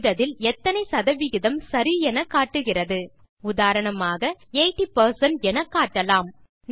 type செய்ததில் எத்தனை சதவிகிதம் சரி எனக்காட்டுகிறது உதாரணமாக 80 பெர்சென்ட் எனக்காட்டலாம்